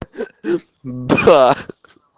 да